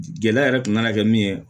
Gɛlɛya yɛrɛ kun nana kɛ min ye